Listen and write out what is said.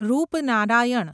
Rupnarayan